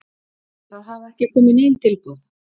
Það hafa ekki komið nein tilboð.